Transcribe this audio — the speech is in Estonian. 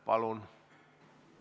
Palun!